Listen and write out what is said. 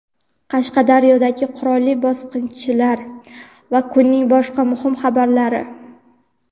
Qashqadaryodagi qurolli bosqinchilar va kunning boshqa muhim xabarlari.